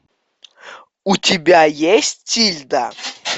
у тебя есть тильда